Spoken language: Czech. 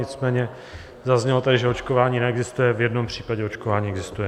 Nicméně zaznělo tady, že očkování neexistuje, v jednom případě očkování existuje.